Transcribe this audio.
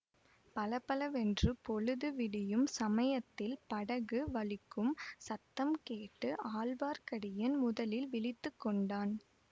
பலபலவென்று பொழுது விடியும் சமயத்தில் படகு வலிக்கும் சத்தம் கேட்டு ஆழ்வார்க்கடியான் முதலில் விழித்து கொண்டான்